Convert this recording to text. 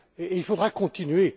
Il faudra continuer.